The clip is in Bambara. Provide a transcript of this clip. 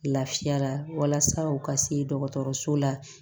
Lafiya la walasa u ka se dɔgɔtɔrɔso la